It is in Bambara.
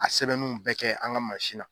A sɛbɛnninw bɛɛ kɛ an ŋa mansin na